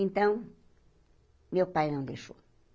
Então, meu pai não deixou.